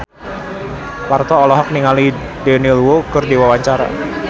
Parto olohok ningali Daniel Wu keur diwawancara